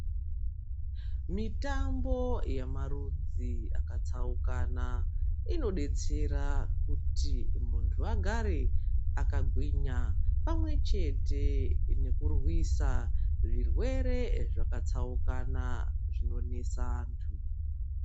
Mitambo yamarudzi akatsaukana inodetsera kuti muntu agare akagwinya pamwechete nekurwisa zvirwere zvakatsaukana zvinonesa antu.